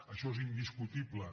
això és in·discutible